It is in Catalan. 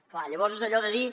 clar llavors és allò de dir